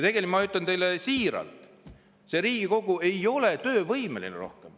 Ma ütlen teile siiralt: see Riigikogu ei ole rohkem töövõimeline.